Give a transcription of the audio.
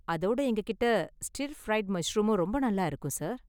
அதோட எங்ககிட்ட ஸ்டிர்ஃப்ரைடு மஷ்ரூமும் ரொம்ப நல்லா இருக்கும் சார்.